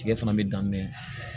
Tigɛ fana bɛ dan me